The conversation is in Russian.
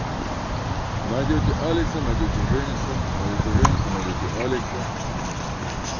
найдёте алекса найдёте жениса найдёте жениса найдёте алекса